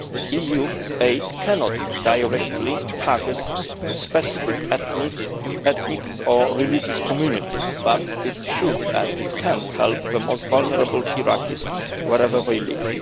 EU aid cannot directly target specific ethnic or religious communities, but it should and it can, help the most vulnerable Iraqis, wherever they live.